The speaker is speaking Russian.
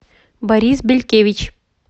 борис белькевич